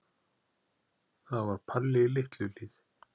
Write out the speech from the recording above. Það var Palli í Litlu-Hlíð.